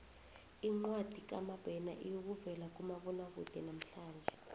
incwadi kamabena iyokuvela kumabonwakude namhlanje